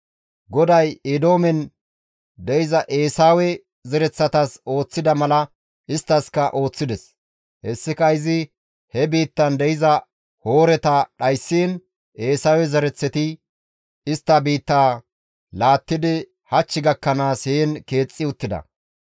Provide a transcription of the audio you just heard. GODAY Eedoomen de7iza Eesawe zereththatas ooththida mala isttaskka ooththides; hessika izi he biittan de7iza Hooreta dhayssiin Eesawe zereththati istta biittaa laattidi hach gakkanaas heen keexxi uttida.